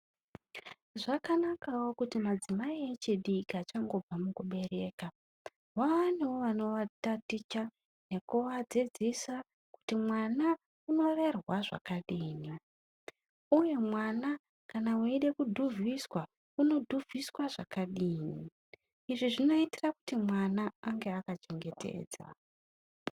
Zvakanakawo kuti madzimai echidiki diki achangobva mukubereka vawanewo vanowa taticha nekuwadzidzisa kuti mwana unorerwa zvakadii uye mwana kana weyida kudhuvhiswa unodhuvhiswa zvakadini izvi zvinoitirwa kuti mwana ange akachengetedzwa.